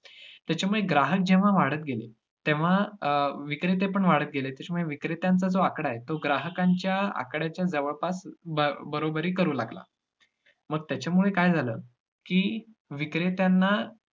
त्याच्यामुळे ग्राहक जेव्हा वाढत गेले तेव्हा अं विक्रेतेपण वाढत गेले, त्याच्यामुळे विक्रेत्यांचा जो आकडा आहे, तो ग्राहकांच्या आकड्याच्या जवळपास बअं बरोबरी करू लागला. मग त्याच्यामुळे काय झालं, की विक्रेत्यांना